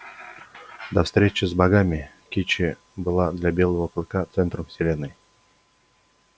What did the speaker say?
до встречи с богами кичи была для белого клыка центром вселенной